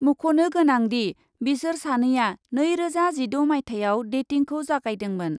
मख'नो गोनांदि, बिसोर सानैआ नैरोजा जिद' माइथायाव डेटिंखौ जागायदोंमोन।